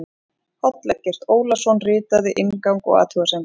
Páll Eggert Ólason ritaði inngang og athugasemdir.